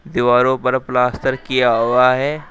दीवारो पर प्लास्तर किया हुआ है।